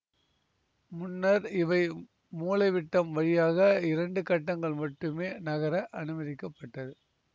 முன்னர் இவை மூலைவிட்டம் வழியாக இரண்டு கட்டங்கள் மட்டுமே நகர அனுமதிக்கப்பட்டது